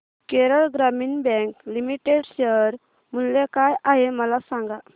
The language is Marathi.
केरळ ग्रामीण बँक लिमिटेड शेअर मूल्य काय आहे मला सांगा